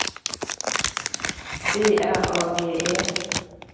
B R A G E